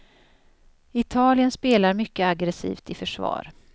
Italien spelar mycket aggressivt i försvar.